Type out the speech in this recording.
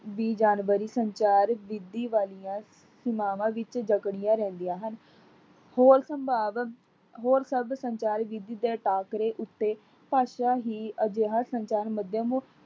ਦੀ ਜਾਨਵਰੀ ਸੰਚਾਰ ਵਿਧੀ ਵਾਲੀਆਂ ਸੀਮਾਵਾ ਵਿੱਚ ਜਕੜੀਆਂ ਰਹਿੰਦਿਆਂ ਹਨ। ਹੋਰ ਸੰਭਾਵ, ਹੋਰ ਸਭ ਸੰਚਾਰ ਵਿਧੀ ਦੇ ਟਾਕਰੇ ਉੱਤੇ ਭਾਸ਼ਾ ਹੀ ਅਜਿਹਾ ਸੰਚਾਰ ਮਧਿਅਮ